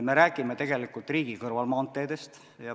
Me räägime riigi kõrvalmaanteedest.